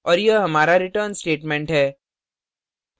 और यह हमारा return statement है